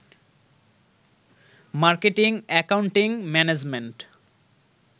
marketing, accounting, management